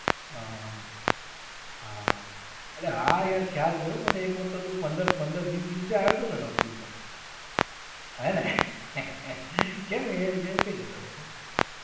હા હા હા. હા હા. અરે હા યાર ખ્યાલ છે હો મને એક વાર તો તું પંદર પંદર વીસ દિવસે આવ્યો તો ને નોકરી ઉપર. હે ને? કેમ એ, એવું કઈ જતો રહ્યો તો?